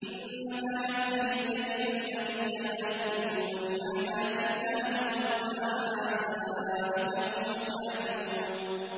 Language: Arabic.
إِنَّمَا يَفْتَرِي الْكَذِبَ الَّذِينَ لَا يُؤْمِنُونَ بِآيَاتِ اللَّهِ ۖ وَأُولَٰئِكَ هُمُ الْكَاذِبُونَ